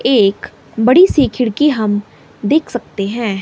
एक बड़ीसी खिड़की हम देख सकते हैं।